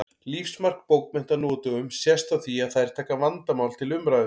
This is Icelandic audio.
Lífsmark bókmennta nú á dögum sést á því að þær taka vandamál til umræðu.